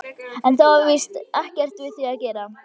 En það var víst ekkert við því að gera.